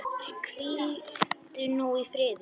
Hvíldu nú í friði.